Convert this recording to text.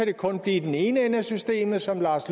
det kun blive den ene ende af systemet som lars